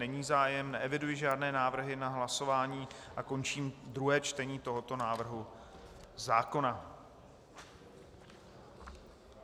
Není zájem, neeviduji žádné návrhy na hlasování a končím druhé čtení tohoto návrhu zákona.